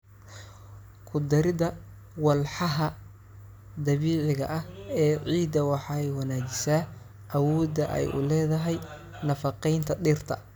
Ku darida walxaha dabiiciga ah ee ciidda waxay wanaajisaa awoodda ay u leedahay nafaqeynta dhirta.